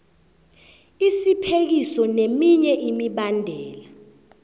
isiphekiso neminye imibandela